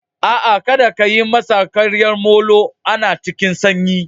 A'a kadda ka yi masa ƙwaryar molo. Ana cikin sanyi.